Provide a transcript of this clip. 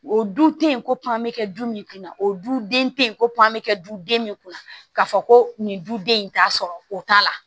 O dun te ye ko pan bɛ kɛ du min kunna o du den te yen ko den ne kunna ka fɔ ko nin duden in t'a sɔrɔ o t'a la